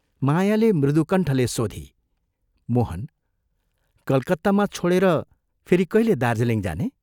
" मायाले मृदुकण्ठले सोधी, " मोहन, कलकत्तामा छोडेर फेरि कहिले दार्जीलिङ जाने?